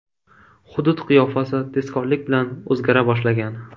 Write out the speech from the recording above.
Hudud qiyofasi tezkorlik bilan o‘zgara boshlagan.